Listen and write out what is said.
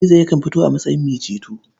Gizo yakan fito a matsayin mai ceto.